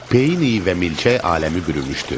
Peyin iyi və milçək aləmi bürümüşdü.